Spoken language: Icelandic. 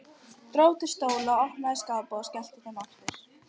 Dró til stóla, opnaði skápa og skellti þeim aftur.